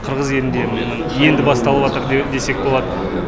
қырғыз елінде енді басталыватыр десек болады